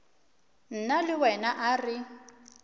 nna le wena a re